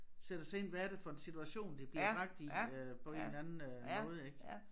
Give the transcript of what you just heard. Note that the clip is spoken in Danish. Sætter sig ind hvad er det for en situation de bliver bragt i øh på en eller anden øh måde ik